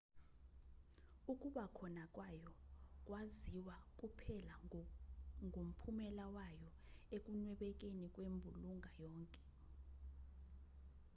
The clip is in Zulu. ukuba khona kwayo kwaziwa kuphela ngomphumela wayo ekunwebekeni kwembulunga yonke